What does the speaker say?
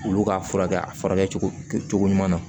Olu ka furakɛ a furakɛ cogo ɲuman na